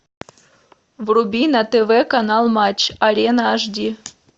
вруби на тв канал матч арена аш ди